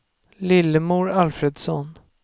Lillemor Alfredsson